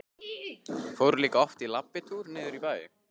Fóru líka oft í labbitúr niður í bæ.